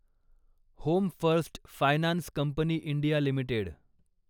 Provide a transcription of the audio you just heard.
home first finance company India limited